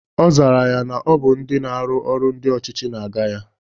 Ọzara ya na Ọ bụ ndị na-arụ ọrụ ndị ọchịchị na-aga ya